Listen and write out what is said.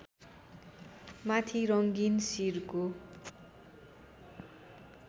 माथि रङ्गीन सिरको